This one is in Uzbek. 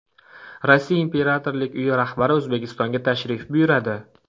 Rossiya imperatorlik uyi rahbari O‘zbekistonga tashrif buyuradi.